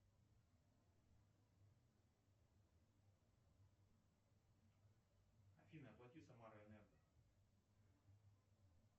афина оплати самараэнерго